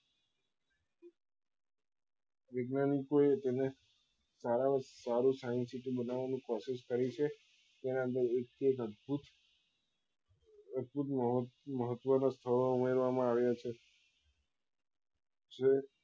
વૈજ્ઞાનિકો એ તેને સારા માં સારી science city બનાવવા ની કોશિશ કરી છે તેના માં એક થી એક અદ્ભુત અદ્ભુત મહત્વ ના સ્થળો ઉમેરવા માં આવ્યા છે જે